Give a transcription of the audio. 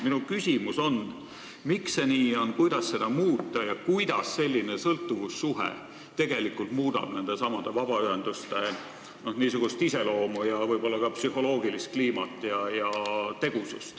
Minu küsimus on, miks see nii on, kuidas seda muuta ja kuidas muudab selline sõltuvussuhe tegelikult nendesamade vabaühenduste n-ö iseloomu, võib-olla ka psühholoogilist kliimat ja tegusust.